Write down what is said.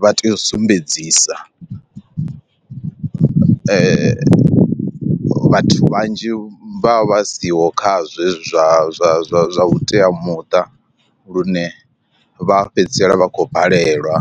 vha tea u sumbedzisa vhathu vhanzhi vha vha siho kha zwezwo zwa zwa zwa zwa vhuteamuṱa lune vha fhedzisela vha khou balelwa.